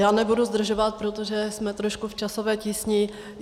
Já nebudu zdržovat, protože jsme trošku v časové tísni.